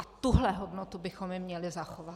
A tuhle hodnotu bychom jim měli zachovat.